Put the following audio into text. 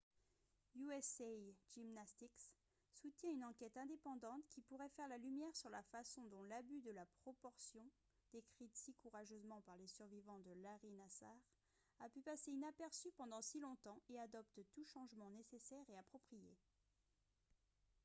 usa gymnastics soutient une enquête indépendante qui pourrait faire la lumière sur la façon dont l'abus de la proportion décrite si courageusement par les survivants de larry nassar a pu passer inaperçu pendant si longtemps et adopte tout changement nécessaire et approprié